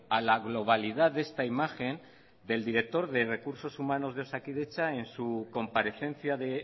a la globalidad de esta imagen del director de recursos humanos de osakidetza en su comparecencia de